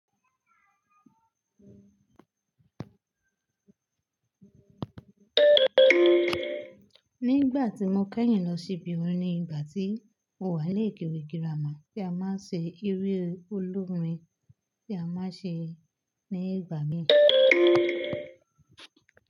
Nígbà tí mo kẹ́yìn lọ sí ìbì orin ni ìgbà tí mo wà ní ìpelé girama tí a máa ń ṣe eré olórin tí a máa ń ṣe ní ìgbà míì.